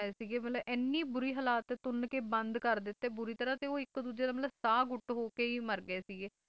ਇਹ ਮਤਲਬ ਐਨੀ ਬੁਰੀ ਹਹਲਾਤ ਤੁੰਨ ਕੇ ਬੰਦ ਕਰ ਦਿੱਤੇ ਬੁਰੀ ਤਰ੍ਹਾਂ ਤੇ ਇੱਕ ਦੂਜੇ ਦਾ ਮਤਲਬ ਸਾਹ ਘੁੱਟ ਹੋ ਕੇ ਹੀ ਮਰ ਗਏ ਸੀਗੇ